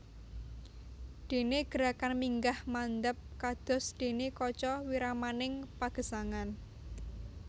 Dene gerakan minggah mandhap kados dene kaca wiramaning pagesangan